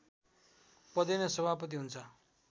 पदेन सभापति हुन्छ